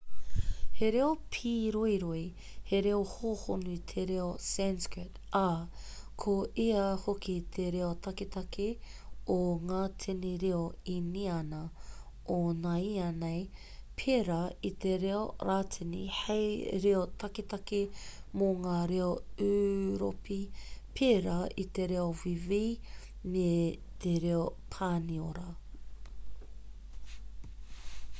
he reo pīroiroi he reo hōhonu te reo sanskrit ā ko ia hoki te reo taketake o ngā tini reo īniana o nāianei pērā i te reo rātini hei reo taketake mō ngā reo ūropi pērā i te reo wīwi me te reo pāniora